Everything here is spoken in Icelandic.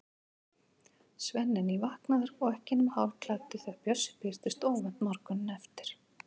Svenni er nývaknaður og ekki nema hálfklæddur þegar Bjössi birtist óvænt morguninn eftir.